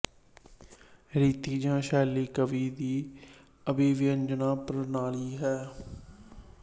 ਰੀਤੀ ਜਾਂ ਸੈ਼ਲੀ ਕਾਵਿ ਦੀ ਅਭਿਵਿਅੰਜਣਾ ਪ੍ਰਣਾਲੀ ਹੈ